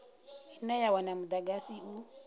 ine ya wana mudagasi u